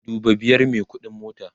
dubu biyar me ƙuɗin mota